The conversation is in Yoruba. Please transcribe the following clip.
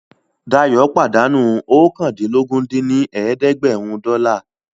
Dayọ̀ pàdánù oókàndínlógún dín ní ẹ̀ẹ́dẹ́gbẹ́rún dọ́là